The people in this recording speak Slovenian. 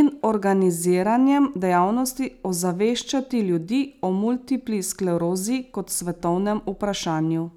in organiziranjem dejavnosti ozaveščati ljudi o multipli sklerozi kot svetovnem vprašanju.